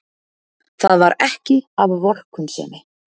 Það var ekki af vorkunnsemi.